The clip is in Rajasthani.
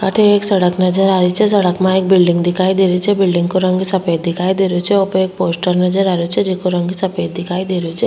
अठे एक सड़क नजर आ रही छे सड़क माय बिल्डिंग दिखाई दे रही छे बिल्डिंग काे रंग सफ़ेद दिखाई दे रियो छे ऊ पे एक पोस्टर नजर आ रियो छे जेको जेको रंग सफेद दिखाई दे रहियो छे।